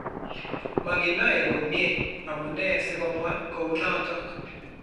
Maginaaye komnyie amunee sikomwaa kounootok